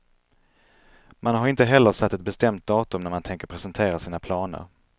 Man har inte heller satt ett bestämt datum när man tänker presentera sina planer.